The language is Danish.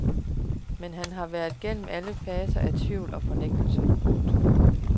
Men han har været gennem alle faserne af tvivl og fornægtelse. punktum